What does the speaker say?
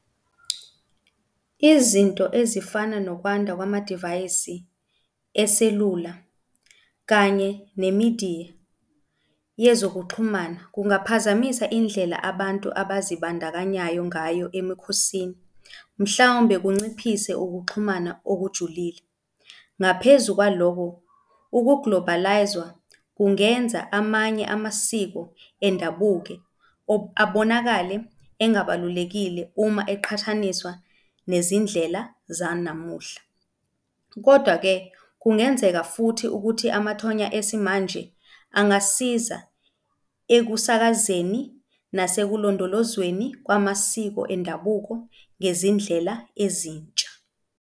Izinto ezifana nokwanda kwamadivayisi eselula kanye ne-media yezokuxhumana kungaphazamisa indlela abantu abazibandakanyayo ngayo emikhosini, mhlawumbe kunciphise ukuxhumana okujulile. Ngaphezu kwalokho, uku-globalize-wa kungenza amanye amasiko endabuke abonakale engabalulekile uma eqhathaniswa nezindlela zanamuhla. Kodwa-ke, kungenzeka futhi ukuthi amathonya esimanje angasisiza ekusakazeni nasekulondolozweni kwamasiko endabuko ngezindlela ezintsha.